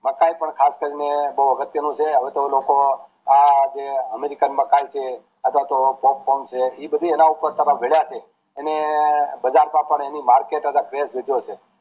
મકાઈ પણ ખાસ કરીને બોવ અગત્યનું છે હવે તો લોકો આ જે American મકાઈ છે અથવા તો popcorn છે એ બધી એના પાર ઘડા છે અને બજાર માં પણ એની market craze વધો છે